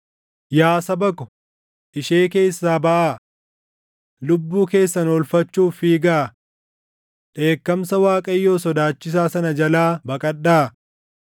“Yaa saba ko, ishee keessaa baʼaa! Lubbuu keessan oolfachuuf fiigaa! Dheekkamsa Waaqayyoo sodaachisaa sana jalaa baqadhaa.